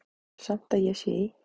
Ég tel samt að ég sé í